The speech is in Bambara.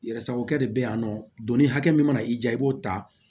Yɛrɛ sagokɛ de bɛ yan nɔ doni hakɛ min mana i ja i b'o ta